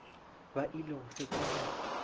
ba ile go fetša go